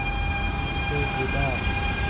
भीड़ से जुदा